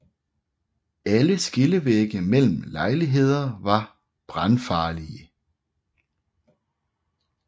Alle skillevægge mellem lejligheder var brandfarlige